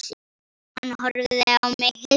Hann horfði á mig hissa.